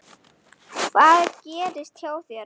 Páll: Hvað gerðist hjá þér?